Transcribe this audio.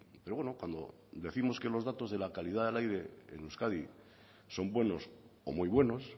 pero bueno cuando décimos que los datos de la calidad del aire en euskadi son buenos o muy buenos